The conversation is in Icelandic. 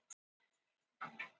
Ég á bjórkippu heima.